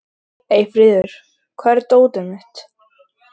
Eyfríður, hvar er dótið mitt?